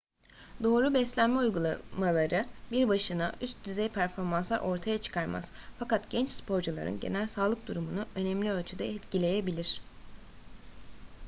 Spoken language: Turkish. doğru beslenme uygulamaları bir başına üst düzey performanslar ortaya çıkarmaz fakat genç sporcuların genel sağlık durumunu önemli ölçüde etkileyebilir